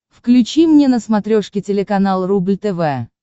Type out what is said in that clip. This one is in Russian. включи мне на смотрешке телеканал рубль тв